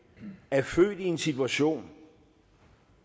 er født i en situation